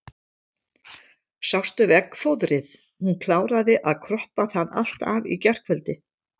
Sástu veggfóðrið, hún kláraði að kroppa það allt af í gærkvöld.